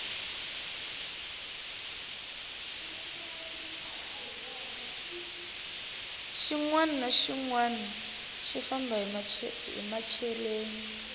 xinwani na xinwani xi famba hi machereni